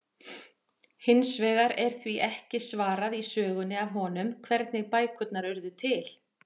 Hins vegar er því ekki svarað í sögunni af honum, hvernig bækurnar urðu til!?